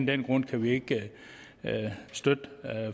den grund kan vi ikke støtte